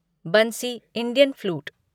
Bansi Indian flute